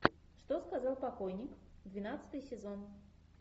что сказал покойник двенадцатый сезон